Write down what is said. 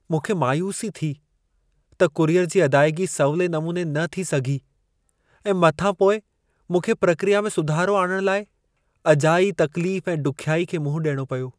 मूंखे मायूसी थी त कुरियर जी अदाइगी सवले नमूने न थी सघी ऐं मथां पोइ मूंखे प्रक्रिया में सुधारो आणणु लाइ अजाई तकलीफ़ ऐं ॾुख्याई खे मुंहुं ॾियणो पियो।